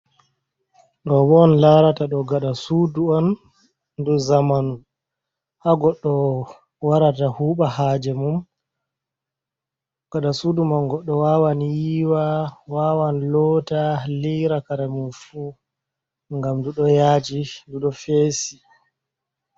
Ɗo bo on larata ɗo gada sudu on ɗum zamanu ha goɗɗo warata huɓa haje mum gada sudu man goɗɗo wawan yiiwa wawan loota liira kare mum fu ngam nɗu ɗo yaaji nɗu ɗo feesi.